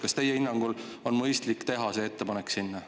Kas teie hinnangul on mõistlik teha selline ettepanek?